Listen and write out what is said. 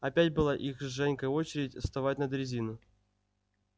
опять была их с женькой очередь вставать на дрезину